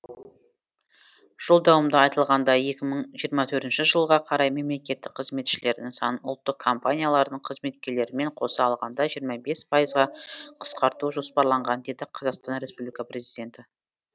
жолдауымда айтылғандай екі мың жиырма төртінші жылға қарай мемлекеттік қызметшілердің санын ұлттық компаниялардың қызметкерлерімен қоса алғанда жиырма бес пайызға қысқарту жоспарланған деді қазақстан республика президенті